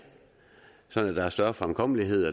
sådan at der er større fremkommelighed